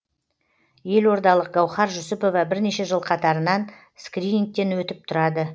елордалық гауһар жүсіпова бірнеше жыл қатарынан скринигтен өтіп тұрады